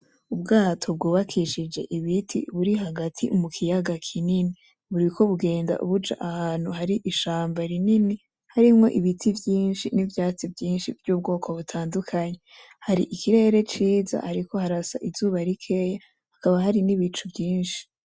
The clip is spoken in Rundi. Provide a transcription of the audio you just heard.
ubwato bwubakishije ibiti buri hagati mu kiyaga kinini. buriko bugenda buja ahantu hari ishamba rinini harimwo ibiti vyinshi, nivyatsi vyinshi vy'ubwoko butandukanye. Hari ikirere ciza hariko harasa izuba rikeyi hakaba hari n'ibicu vyinshi.